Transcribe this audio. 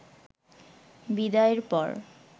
বিদায়ের পর